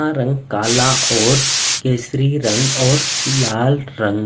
का रंग काला और केसरी रंग और लाल रंग--